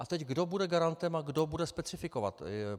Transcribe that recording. A teď kdo bude garantem a kdo bude specifikovat?